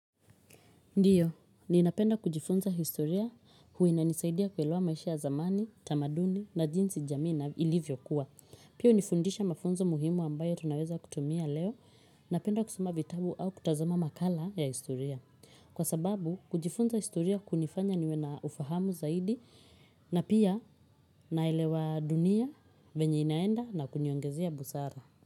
Ndiyo, ninapenda kujifunza historia hua inanisaidia kuelewa maisha ya zamani, tamaduni na jinsi jamii na ilivyokuwa. Piyo hunifundisha mafunzo muhimu ambayo tunaweza kutumia leo. Napenda kusoma vitabu au kutazama makala ya historia. Kwa sababu, kujifunza historia kunifanya niwe na ufahamu zaidi na pia naelewa dunia venye inaenda na kuniongezea busara.